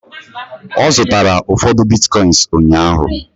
ọ zụtara ụfọdụ Bitcoins ụnyaahụ